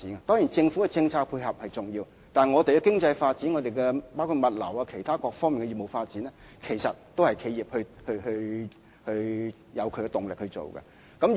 當然，政府的政策配合是重要的，但本港的經濟發展，包括物流業及其他各方面的業務發展，其實也是因為企業動力推進。